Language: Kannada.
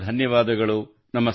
ತುಂಬಾ ಧನ್ಯವಾದಗಳು